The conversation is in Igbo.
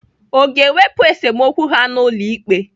Ọ ga-ewepụ esemokwu ha n'ụlọ ikpe?